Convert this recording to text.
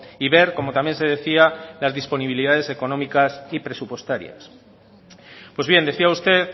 y ver como también se decía las disponibilidades económicas y presupuestarias pues bien decía usted